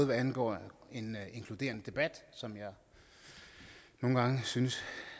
hvad angår en inkluderende debat som jeg nogle gange synes